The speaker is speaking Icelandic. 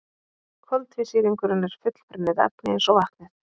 Koltvísýringurinn er fullbrunnið efni eins og vatnið.